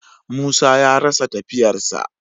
Musa ya rasa tafiyar sa.